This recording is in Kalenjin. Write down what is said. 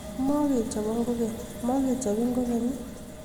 Mokechobon kokeny mokechobin kokeny?